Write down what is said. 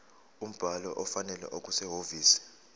umbhalo ofanele okusehhovisi